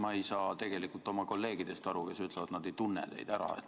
Ma ei saa tegelikult aru oma kolleegidest, kes ütlevad, et nad ei tunne teid ära.